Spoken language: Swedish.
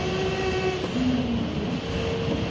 Wilhelm Gren